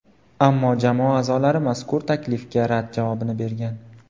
Ammo jamoa a’zolari mazkur taklifga rad javobini bergan.